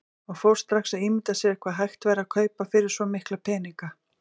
Og fór strax að ímynda sér hvað hægt væri að kaupa fyrir svo mikla peninga.